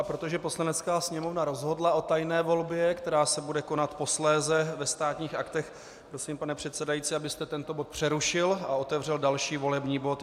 A protože Poslanecká sněmovna rozhodla o tajné volbě, která se bude konat posléze ve Státních aktech, prosím, pane předsedající, abyste tento bod přerušil a otevřel další volební bod.